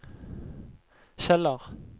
Kjeller